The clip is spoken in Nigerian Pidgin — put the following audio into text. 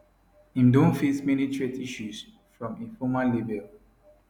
im don face many threat issues from im former label